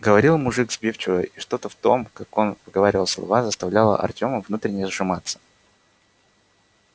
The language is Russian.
говорил мужик сбивчиво и что-то в том как он выговаривал слова заставляло артёма внутренне сжиматься